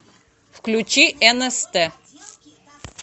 включи нст